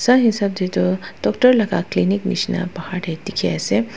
sai hesap tey tu doctor laga clinic nishina bahar tey dikhi ase.